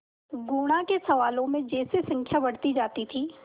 गुणा के सवालों में जैसे संख्या बढ़ती जाती थी